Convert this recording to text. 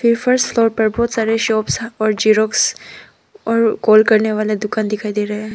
बहुत सारा शॉप्स और जेरॉक्स और कॉल करने वाले दुकान दिखाई दे रहा है।